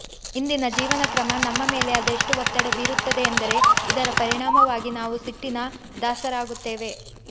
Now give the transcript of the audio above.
ಇಂದಿನ ಜೀವನಕ್ರಮ ನಮ್ಮ ಮೇಲೆ ಅದೆಷ್ಟು ಒತ್ತಡ ಬೀರುತ್ತದೆ ಎಂದರೆ ಇದರ ಪರಿಣಾಮವಾಗಿ ನಾವು ಸಿಟ್ಟಿನ ದಾಸರಾಗುತ್ತೇವೆ